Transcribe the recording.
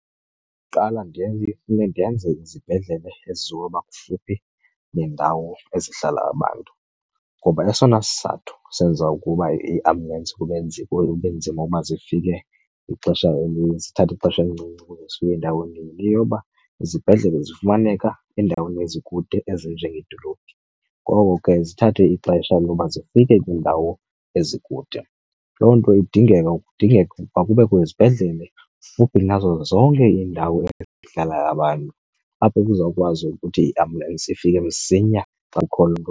Ndingaqala ifune ndenze izibhedlele ezizoba kufuphi neendawo ezihlala abantu. Ngoba esona sizathu senza ukuba iiambulensi kube , kube nzima uba zifike ixesha elininzi, zithathe ixesha elincinci ukuze zifike endaweni yile yoba izibhedlele zifumaneka eendaweni ezikude ezinjengedolophi. Ngoko ke zithathe ixesha loba zifike kwiindawo ezikude. Loo nto kudingeka ukuba kubekho izibhedlele kufuphi nazo zonke iindawo ezihlala abantu, apho kuzawukwazi ukuthi iambulensi ifike msinya xa kukhona loo nto.